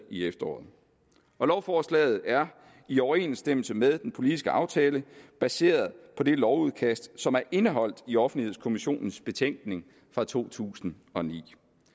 i efteråret og lovforslaget er i overensstemmelse med den politiske aftale baseret på det lovudkast som er indeholdt i offentlighedskommissionens betænkning fra to tusind og ni